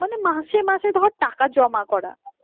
মানে মাসে মাসে ধর টাকা জমা করা